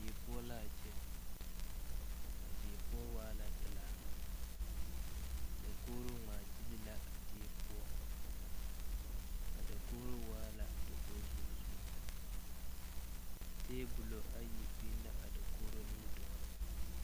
Die poɔ laa kyɛ a die poɔ waa la pilaa dakogro ngmaa gyile la a die poɔ a dakogro waa la dakoge zumɔzumɔ tabolɔ ayi biŋ la a dakogro nimitooreŋ.